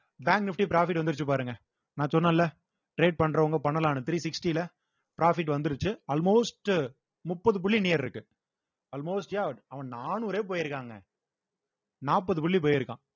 bank nifty profit வந்துருச்சு பாருங்க நான் சொன்னேன்ல trade பண்றவங்க பண்ணலாம்னு three sixty ல profit வந்துருச்சு almost உ முப்பது புள்ளி near இருக்கு almost yeah அவன் நானூறே போயிருக்காங்க நாற்பது புள்ளி போயிருக்கான்